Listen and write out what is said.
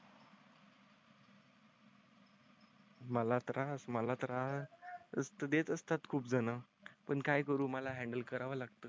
मला त्रास मला देत असतात. खूप जण पण काय करू मला हॅन्डल करावं लागतं.